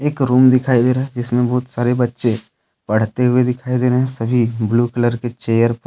Room दिखाई दे रहा है इसमें बहुत सारे बच्चे पढ़ते हुए दिखाई दे रहे हैं सभी ब्लू कलर के चेयर पर।